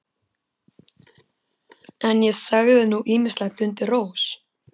En ég sagði nú ýmislegt undir rós.